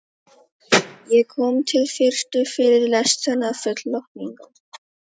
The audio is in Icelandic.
Ég kom til fyrstu fyrirlestranna full lotningar.